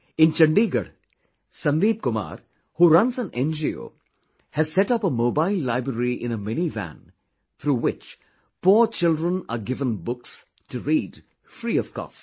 In Chandigarh, Sandeep Kumar who runs an NGO has set up a mobile library in a mini van, through which, poor children are given books to read free of cost